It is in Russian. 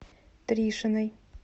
тришиной